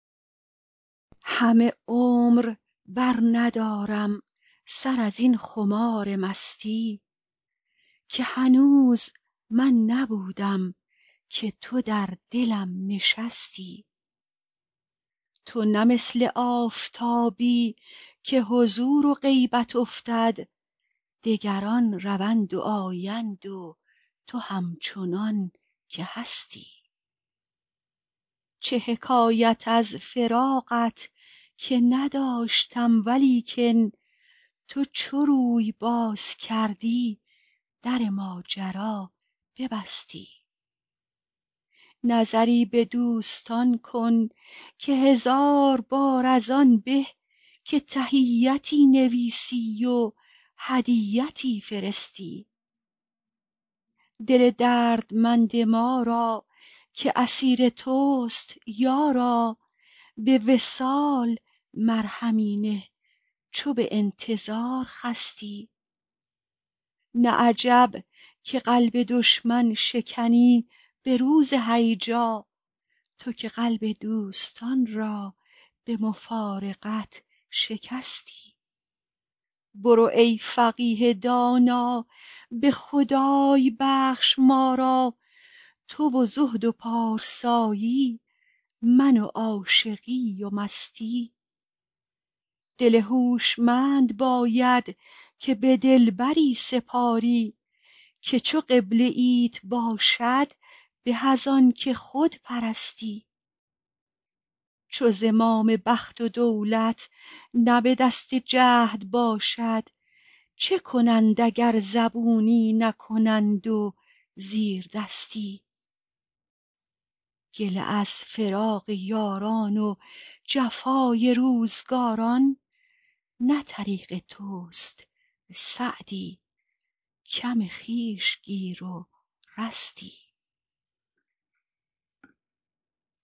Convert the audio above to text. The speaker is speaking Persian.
همه عمر برندارم سر از این خمار مستی که هنوز من نبودم که تو در دلم نشستی تو نه مثل آفتابی که حضور و غیبت افتد دگران روند و آیند و تو همچنان که هستی چه حکایت از فراقت که نداشتم ولیکن تو چو روی باز کردی در ماجرا ببستی نظری به دوستان کن که هزار بار از آن به که تحیتی نویسی و هدیتی فرستی دل دردمند ما را که اسیر توست یارا به وصال مرهمی نه چو به انتظار خستی نه عجب که قلب دشمن شکنی به روز هیجا تو که قلب دوستان را به مفارقت شکستی برو ای فقیه دانا به خدای بخش ما را تو و زهد و پارسایی من و عاشقی و مستی دل هوشمند باید که به دلبری سپاری که چو قبله ایت باشد به از آن که خود پرستی چو زمام بخت و دولت نه به دست جهد باشد چه کنند اگر زبونی نکنند و زیردستی گله از فراق یاران و جفای روزگاران نه طریق توست سعدی کم خویش گیر و رستی